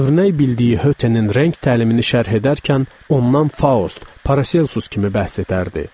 Örnək bildiyi Hötenin rəng təlimini şərh edərkən ondan Faust, Paracelsus kimi bəhs edərdi.